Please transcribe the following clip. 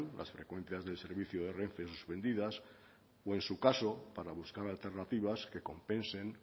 las frecuencias del servicio de renfe suspendidas o en su caso para buscar alternativas que compensen